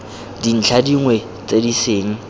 dintlha dingwe tse e seng